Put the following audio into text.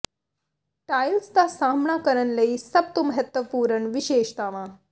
tiles ਦਾ ਸਾਹਮਣਾ ਕਰਨ ਲਈ ਸਭ ਤੋਂ ਮਹੱਤਵਪੂਰਣ ਵਿਸ਼ੇਸ਼ਤਾਵਾਂ